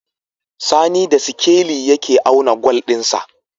Sani da sikeli yake auna gwal din sa